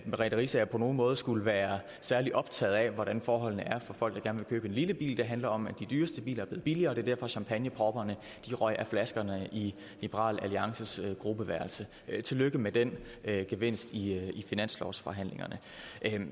merete riisager på nogen måde skulle være særlig optaget af hvordan forholdene er for folk der gerne vil købe en lille bil det handler om at de dyreste biler bliver billigere og det var derfor champagnepropperne røg af flaskerne i liberal alliances gruppeværelse tillykke med den gevinst i finanslovsforhandlingerne